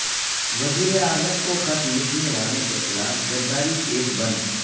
وزیراعظم کو خط لکھنے والوں کیخلاف غداری کیس بند